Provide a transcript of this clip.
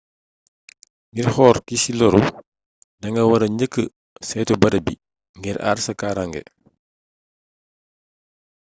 ngir xool ki ci lóru da nga wara njëkka saytu barab bi ngir àar sa kaarànge